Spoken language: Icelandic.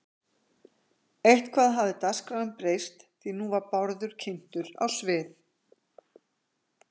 Eitthvað hafði dagskráin breyst því nú var Bárður kynntur á svið